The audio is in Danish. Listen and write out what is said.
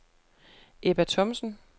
Ebba Thomsen